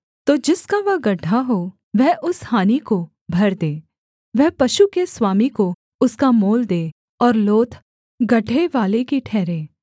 तो जिसका वह गड्ढा हो वह उस हानि को भर दे वह पशु के स्वामी को उसका मोल दे और लोथ गड्ढेवाले की ठहरे